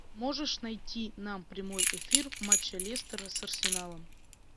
можешь найти нам прямой эфир матча лестера с арсеналом